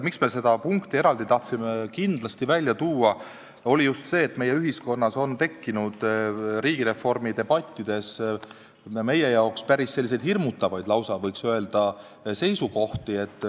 Miks me seda punkti tahtsime kindlasti eraldi välja tuua, oli just see, et meie ühiskonnas on tekkinud riigireformi debattides meie arvates päris hirmutavaid, võiks öelda, seisukohti.